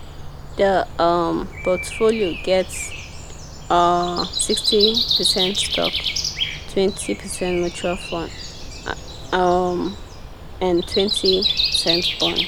the um portfolio get um sixty percent stock twenty percent mutual fund um and twenty percent bond.